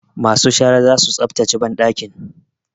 Masu shara za su tsaftace banɗakin.